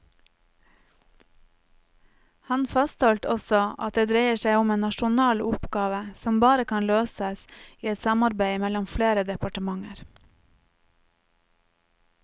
Han fastholdt også at det dreier seg om en nasjonal oppgave som bare kan løses i et samarbeid mellom flere departementer.